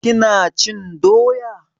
Ki na cin doya?